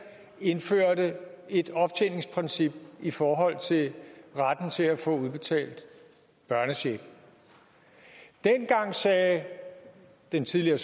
indførte et optjeningsprincip i forhold til retten til at få udbetalt børnecheck dengang sagde den tidligere